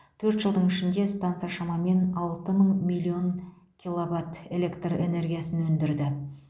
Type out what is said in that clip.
төрт жылдың ішінде станса шамамен алты мың миллион киловатт электр энергиясын өндірді